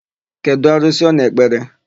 Kedụ arụsị ọ na-ekpere?